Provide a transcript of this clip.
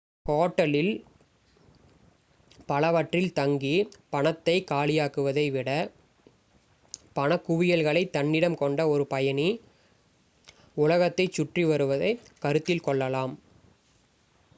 இந்த ஹோட்டல்களில் பலவற்றில் தங்கி பணத்தைக் காலியாக்குவதை விட பணக் குவியல்களை தன்னிடம் கொண்ட ஒரு பயணி உலகத்தைச் சுற்றி வருவதைக் கருத்தில் கொள்ளலாம்